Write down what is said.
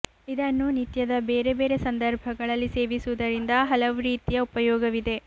ಇದನ್ನು ನಿತ್ಯದ ಬೇರೆ ಬೇರೆ ಸಂದರ್ಭಗಳಲ್ಲಿ ಸೇವಿಸುವುದರಿಂದ ಹಲವು ರೀತಿಯ ಉಪಯೋಗವಿದೆ